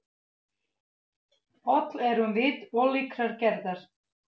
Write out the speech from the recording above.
Öll erum við ólíkrar gerðar.